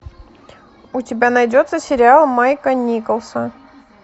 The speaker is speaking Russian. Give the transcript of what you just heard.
у тебя найдется сериал майка николса